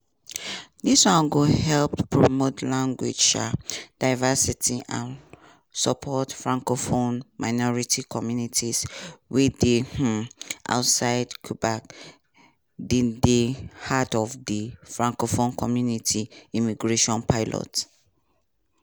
dis one go helep promote language um diversity and support francophone minority communities wey dey um outside quebec dey di heart of di francophone community immigration pilot.